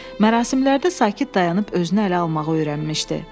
Mərasimlərdə sakit dayanıb, özünü ələ almağı öyrənmişdi.